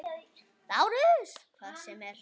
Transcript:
LÁRUS: Hvað sem er.